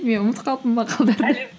мен ұмытып қалыппын мақалдарды